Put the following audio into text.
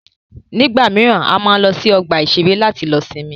Nígbà míràn, a máa ń lọ sí ọgbà ìṣẹ̀rẹ́ láti lọ sinmi.